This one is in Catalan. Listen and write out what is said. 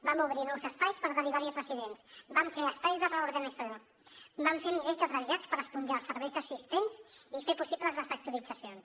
vam obrir nous espais per derivar hi residents vam crear espais de reordenació vam fer milers de trasllats per esponjar els serveis assistents i fer possibles les sectoritzacions